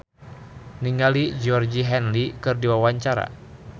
Dicky Chandra olohok ningali Georgie Henley keur diwawancara